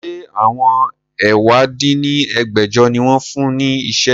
Ṣé àwọn ẹ̀wá dín ní ẹgbẹ́jọ ni wọn fún ní iṣẹ́?